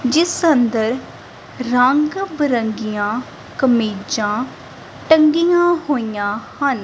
ਜਿਸ ਅੰਦਰ ਰੰਗ ਬਰੰਗੀਆਂ ਕਮੀਜਾਂ ਟੰਗੀਆਂ ਹੋਈਆਂ ਹਨ।